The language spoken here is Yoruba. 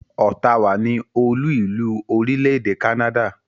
Ottawa ni olú-ìlú orílẹ̀-èdè Canada.